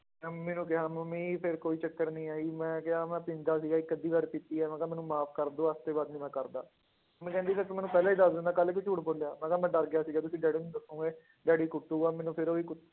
ਮੈਂ ਮੰਮੀ ਨੂੰ ਕਿਹਾ ਮੰਮੀ ਫਿਰ ਕੋਈ ਚੱਕਰ ਨੀ ਆ ਜੀ ਮੈਂ ਕਿਹਾ ਮੈਂ ਪੀਂਦਾ ਸੀਗਾ ਇੱਕ ਅੱਧੀ ਵਾਰ ਪੀਤੀ ਹੈ, ਮੈਂ ਕਿਹਾ ਮੈਨੂੰ ਮਾਫ਼ ਕਰ ਦਓ ਅੱਜ ਦੇ ਬਾਅਦ ਨੀ ਮੈਂ ਕਰਦਾ, ਮੰਮੀ ਕਹਿੰਦੀ ਫਿਰ ਤੂੰ ਮੈਨੂੰ ਪਹਿਲਾਂ ਹੀ ਦੱਸ ਦਿੰਦਾ ਕੱਲ੍ਹ ਕਿਉਂ ਝੂਠ ਬੋਲਿਆ, ਮੈਂ ਕਿਹਾ ਮੈਂ ਡਰ ਗਿਆ ਸੀਗਾ ਵੀ ਕਿ ਡੈਡੀ ਨੂੰ ਦੱਸੋਂਗੇ ਡੈਡੀ ਕੁੱਟੁਗਾ ਮੈਨੂੰ ਫਿਰ ਉਹ ਹੀ ਕ